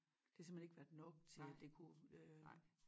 Det har simpelthen ikke være nok til at det kunne øh